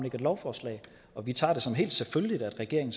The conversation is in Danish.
et lovforslag og vi tager det som en fuldstændig selvfølgelighed at regeringen